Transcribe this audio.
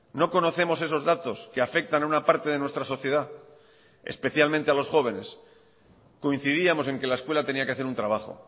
no conocemos esos datos que afectan a una parte de nuestra sociedad especialmente a los jóvenes coincidíamos en que la escuela tenía que hacer un trabajo